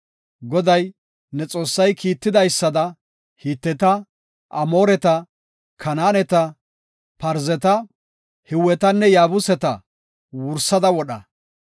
Goday, ne Xoossay kiittidaysada Hiteta, Amooreta, Kanaaneta, Parzeta, Hiwetanne Yaabuseta wursada wodha.